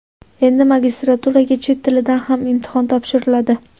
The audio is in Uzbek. Endi magistraturaga chet tilidan ham imtihon topshiriladi.